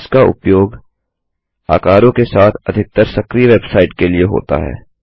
इसका उपयोग आकारों के साथ अधिकतर सक्रिय वेबसाइट के लिए होता है